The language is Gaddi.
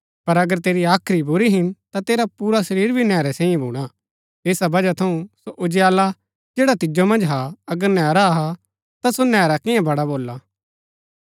पर अगर तेरी हाख्री बुरी हिन ता तेरा पुरा शरीर भी नैहरै सैई भूणा ऐसा बजह थऊँ सो उजियाला जैडा तिजो मन्ज हा अगर नैहरा हा ता सो नैहरा किना बड़ा भोला